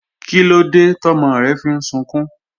Kílódé tọ́mọ rẹ fi ń sunkún?